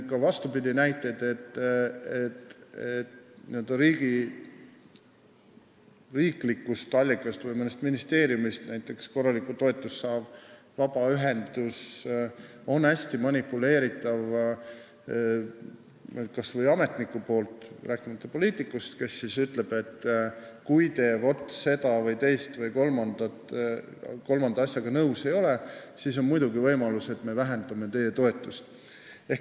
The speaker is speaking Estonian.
Või vastupidi: kui riiklikust allikast või mõnest ministeeriumist korralikku toetust saav vabaühendus on hästi manipuleeritav, st ametnik – rääkimata poliitikust – ütleb, et kui te selle, teise või kolmanda asjaga nõus ei ole, siis on muidugi võimalik, et me vähendame teie toetust.